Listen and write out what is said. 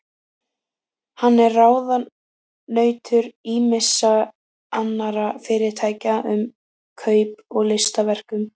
Hann er ráðunautur ýmissa annarra fyrirtækja um kaup á listaverkum.